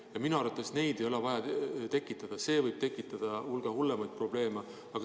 Ja minu arvates neid ei ole vaja tekitada, see võib tekitada hulga hullemaid probleeme.